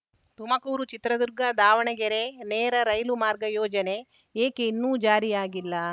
ತುಮಕೂರುಚಿತ್ರದುರ್ಗದಾವಣಗೆರೆ ನೇರ ರೈಲು ಮಾರ್ಗ ಯೋಜನೆ ಏಕೆ ಇನ್ನು ಜಾರಿಯಾಗಿಲ್ಲ